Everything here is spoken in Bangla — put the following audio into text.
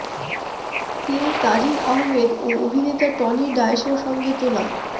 তিনি তাজিন আহমেদ ও অভিনেতা টনি ডায়েসের সঙ্গে তোলা